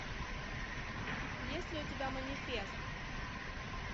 есть ли у тебя манифест